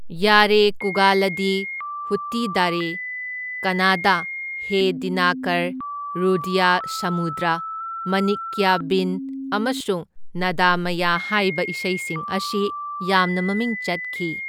ꯌꯥꯔꯦ ꯀꯨꯒꯗꯂꯤ, ꯍꯨꯠꯇꯤꯗꯥꯔꯦ ꯀꯟꯅꯥꯗꯥ, ꯍꯦ ꯗꯤꯅꯥꯀꯔ, ꯔꯨꯗꯌ ꯁꯃꯨꯗ꯭ꯔ, ꯃꯅꯤꯛꯀ꯭ꯌꯕꯤꯟ ꯑꯃꯁꯨꯡ ꯅꯥꯗꯃꯌꯥ ꯍꯥꯢꯕ ꯏꯁꯩꯁꯤꯡ ꯑꯁꯤ ꯌꯥꯝꯅ ꯃꯃꯤꯡ ꯆꯠꯈꯤ꯫